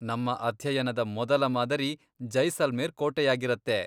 ನಮ್ಮ ಅಧ್ಯಯನದ ಮೊದಲ ಮಾದರಿ ಜೈಸಲ್ಮೇರ್ ಕೋಟೆಯಾಗಿರತ್ತೆ.